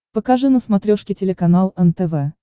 покажи на смотрешке телеканал нтв